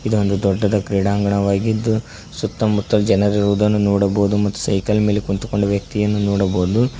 ಇದು ಒಂದು ದೊಡ್ಡದ ಕ್ರೀಡಾಂಗಣವಾಗಿದ್ದು ಸುತ್ತಮುತ್ತ ಜನರಿರುವುದನ್ನು ನೋಡಬಹುದು ಮತ್ತು ಸೈಕಲ್ ಮೇಲೆ ಕುಂತುಕೊಂಡ ವ್ಯಕ್ತಿಯನ್ನು ನೋಡಬಹುದು.